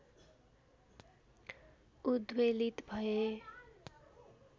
उद्वेलित भएँ